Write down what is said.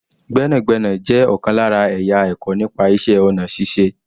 Gbẹ́nàgbẹ́nà jẹ́ ọ̀kan lára ẹ̀yà ẹ̀kọ́ nípa iṣẹ́ ọ̀nà ṣíṣe